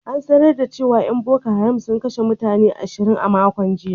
An sanar da cewa ‘yan Boko Haram sun kashe mutane ashirin a makon jiya.